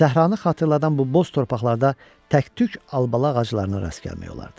Səhranı xatırladan bu boz torpaqlarda təktük albalı ağaclarına rast gəlmək olardı.